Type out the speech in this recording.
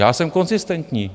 Já jsem konzistentní.